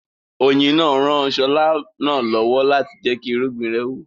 Oyin náà ran Ṣọlá náà lọ́wọ́ láti jẹ́kí irúgbìn rẹ̀ wù